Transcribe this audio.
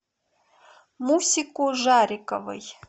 мусику жариковой